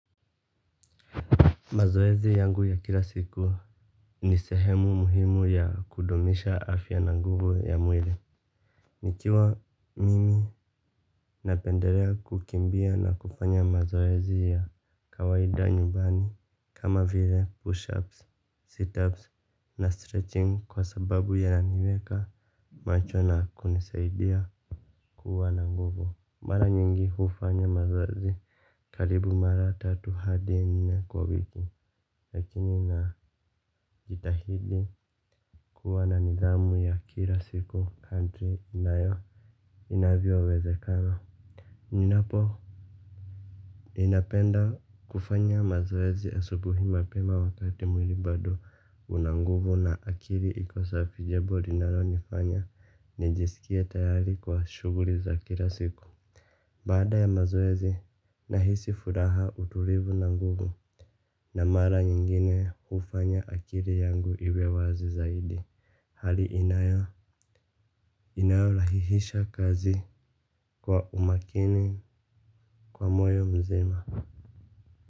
Mazoezi yangu ya kila siku ni sehemu muhimu ya kudumisha afya na nguvu ya mwili. Nikiwa mimi na pendelea kukimbia na kufanya mazoezi ya kawaida nyumbani kama vile push ups, sit ups na stretching kwa sababu inaniweka macho na kunisaidia kuwa na nguvu. Mara nyingi hufanya mazoezi karibu mara tatu hadi nne kwa wiki. Lakini na jitahidi kuwa na nidhamu ya kila siku kadri inayo inavyo wezekana. Ninapo ninapenda kufanya mazoezi asubuhi mapema wakati mwili bado unanguvu na akili iko safi jambo linalo nifanya nijisikie tayari kwa shuguli za kila siku. Baada ya mazoezi, nahisi furaha utulivu na nguvu na mara nyingine hufanya akili yangu iwewazi zaidi. Hali inayo inayo rahisisha kazi kwa umakini, kwa moyo mzima.